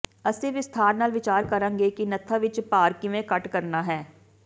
ਅਸੀਂ ਵਿਸਥਾਰ ਨਾਲ ਵਿਚਾਰ ਕਰਾਂਗੇ ਕਿ ਨੱਥਾਂ ਵਿਚ ਭਾਰ ਕਿਵੇਂ ਘੱਟ ਕਰਨਾ ਹੈ